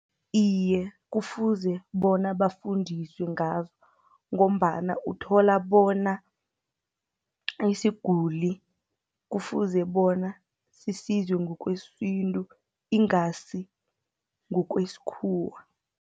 Iye, kufuze bona bafundiswe ngazo, ngombana uthola bona isiguli kufuze bona sisizwe ngokwesintu, ingasi ngokwesikhuwa.